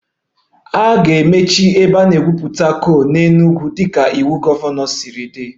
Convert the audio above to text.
A ga-emechi ebe a na-egwupụta coal Enugwu dịka iwu gọvanọ siri dị